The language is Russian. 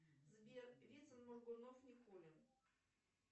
сбер вицин моргунов никулин